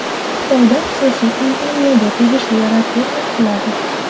Xitoyda xususiy kompaniyaga tegishli raketa quladi.